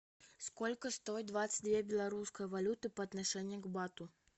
сколько стоит двадцать две белорусской валюты по отношению к бату